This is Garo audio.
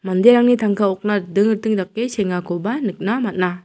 manderangni tangka okna riting riting dake sengakoba nikna man·a.